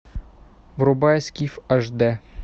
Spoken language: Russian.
врубай скиф аш дэ